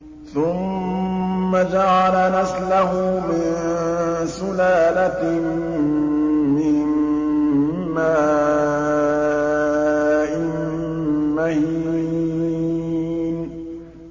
ثُمَّ جَعَلَ نَسْلَهُ مِن سُلَالَةٍ مِّن مَّاءٍ مَّهِينٍ